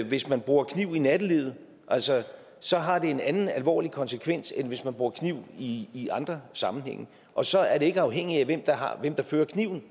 hvis man bruger kniv i nattelivet så har det en anden alvorlig konsekvens end hvis man bruger kniv i i andre sammenhænge og så er det ikke afhængigt af hvem der fører kniven